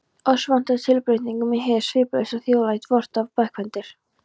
Oss vantar tilbreytingu í hið sviplausa þjóðlíf vort og bókmenntir.